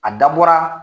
A dabɔra